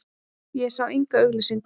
Ég sá enga auglýsingu.